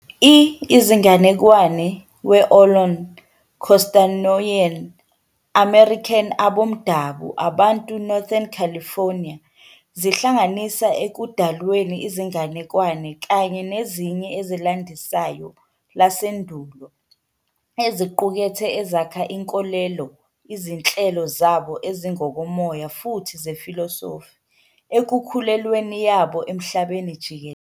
I izinganekwane we Ohlone, Costanoan, American aboMdabu abantu Northern California zihlanganisa ekudalweni izinganekwane kanye nezinye ezilandisayo lasendulo eziqukethe ezakha inkolelo izinhlelo zabo ezingokomoya futhi zefilosofi, ekukhulelweni yabo emhlabeni jikelele.